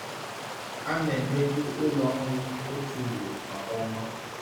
A na-emeju ụlọ nri otu ugboro kwa ọnwa.